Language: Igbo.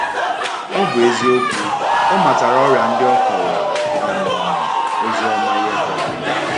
Ọ bụ eziokwu, ọ matara ọrịa ndị o kọrọ um ozi ọma nye ha.